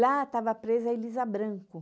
Lá estava presa Elisa Branco.